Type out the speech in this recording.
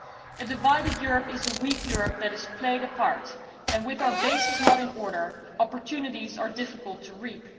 A divided Europe is a weak Europe that is played apart, and with our basis not in order, opportunities are difficult to reap.